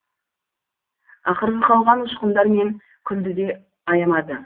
ақырғы қалған ұшқындар мен күлді де аямады